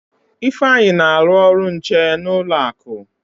Ifeanyi na-alụ ọrụ nche n'ụlọ akụ.